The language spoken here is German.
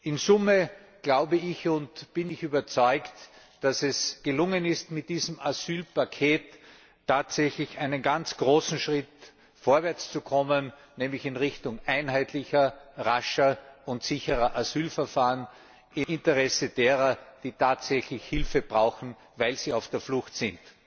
In der Summe glaube ich und bin ich überzeugt, dass es gelungen ist, mit diesem Asylpaket tatsächlich einen ganz großen Schritt vorwärts zu kommen, nämlich in Richtung einheitlicher, rascher und sicherer Asylverfahren im Interesse derer, die tatsächlich Hilfe brauchen, weil sie auf der Flucht sind.